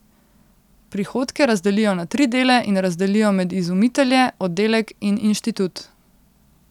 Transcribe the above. Prihodke razdelijo na tri dele in razdelijo med izumitelje, oddelek in inštitut.